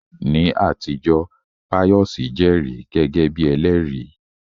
Ní àtijọ́, Pius jẹ́rìí gẹ́gẹ́ bí ẹlẹ́rìí.